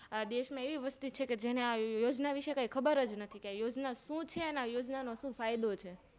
એવી વસ્તી છેકે જેને આ યોજના વિશે કાય ખબર નથી કે આ યોજના શું છે અને આ યોજના નો શું ફાયદો છે